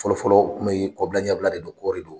Fɔlɔ fɔlɔ u kun bɛ kɔbila ɲɛbila de don kɔɔri do.